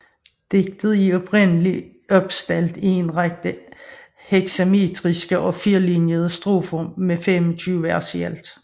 Digtet er oprindeligt opstillet i en række hexametriske og firelinjede strofer med 25 vers i alt